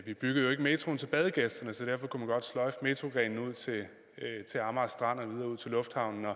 ikke byggede metroen til badegæsterne så derfor kunne man godt sløjfe metroplanen ud til amager strand og videre ud til lufthavnen og